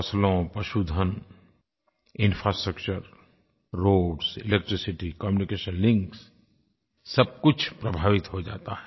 फसलों पशुधन infrastructure roads electricity communication links सब कुछ प्रभावित हो जाता है